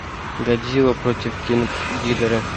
годзилла против кинг гидоры